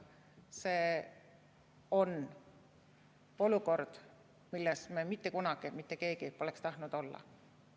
See on olukord, milles me mitte kunagi mitte keegi pole tahtnud olla.